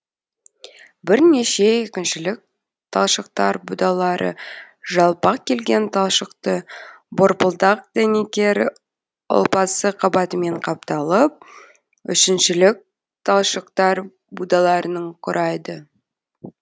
бірнеше екіншілік талшықтар будалары жалпақ келген талшықты борпылдақ дәнекер ұлпасы қабатымен қапталып үшіншілік талшықтар будаларының құрайды